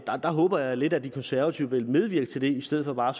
der håber jeg lidt at de konservative vil medvirke til i stedet for bare